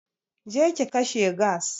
Je ki kashe gas!